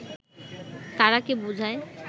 তারাকে বুঝায়